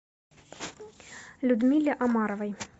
людмиле омаровой